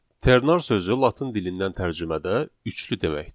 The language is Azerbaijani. Ternar sözü latın dilindən tərcümədə üçlü deməkdir.